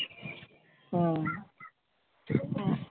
হম